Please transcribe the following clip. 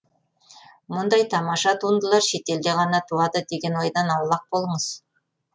мұндай тамаша туындылар шетелде ғана туады деген ойдан аулақ болыңыз